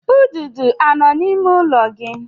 Ududo anọ n'ime ụlọ gị?